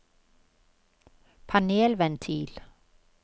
panelventil